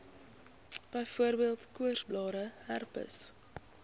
byvoorbeeld koorsblare herpes